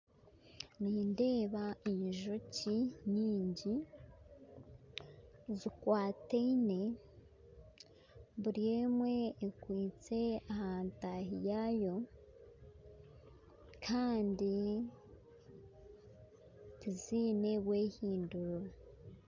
Nindeba enjoki nyingyi, zikwataine buri emwe ekwitse aha ntaahi yaayo handi tiziine bwehinduriro